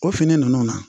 O fini ninnu na